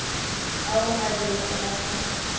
ao a bego a sa